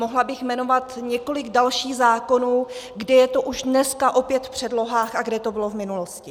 Mohla bych jmenovat několik dalších zákonů, kde je to už dneska opět v předlohách a kde to bylo v minulosti.